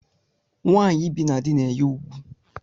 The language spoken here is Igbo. Nwanyi ibi na dị na-enye ùgwù.